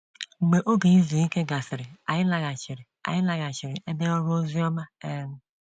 Mgbe oge izu ike gasịrị, anyị laghachiri anyị laghachiri ebe ọrụ oziọma um.